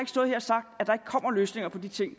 se